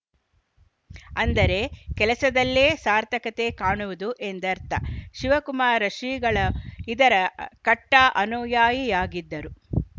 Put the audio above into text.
ಅಂದರೆ ಕೆಲಸದಲ್ಲೇ ಸಾರ್ಥಕತೆ ಕಾಣುವುದು ಎಂದರ್ಥ ಶಿವಕುಮಾರ ಶ್ರೀಗಳು ಇದರ ಕಟ್ಟಾಅನುಯಾಯಿಯಾಗಿದ್ದರು